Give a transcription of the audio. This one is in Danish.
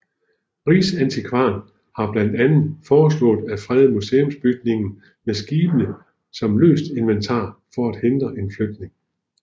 Riksantikvaren har blandt andet foreslået at frede museumsbygningen med skibene som løst inventar for at hindre en flytning